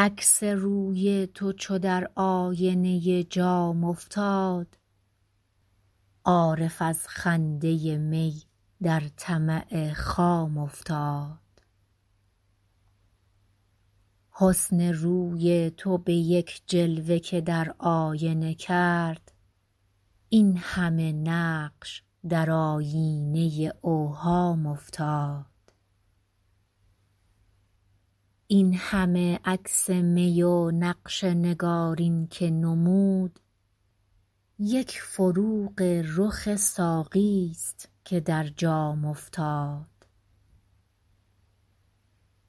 عکس روی تو چو در آینه جام افتاد عارف از خنده می در طمع خام افتاد حسن روی تو به یک جلوه که در آینه کرد این همه نقش در آیینه اوهام افتاد این همه عکس می و نقش نگارین که نمود یک فروغ رخ ساقی ست که در جام افتاد